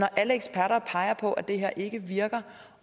alle eksperter peger på at det her ikke virker